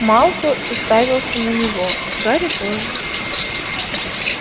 малфой уставился на него гарри тоже